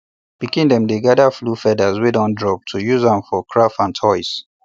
pikin dem dey gather fowl feathers wey don drop to use am for craft and toys